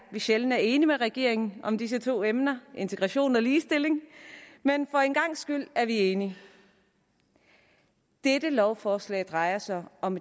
vi sjældent er enige med regeringen om disse to emner integration og ligestilling men for en gangs skyld er vi enige dette lovforslag drejer sig om